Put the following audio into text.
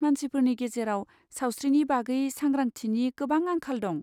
मानसिफोरनि गेजेराव सावस्रिनि बागै सांग्रांथिनि गोबां आंखाल दं।